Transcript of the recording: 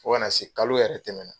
Fɔ kana se kalo yɛrɛ tɛmɛna.